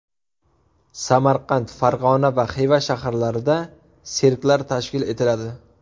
Samarqand, Farg‘ona va Xiva shaharlarida sirklar tashkil etiladi.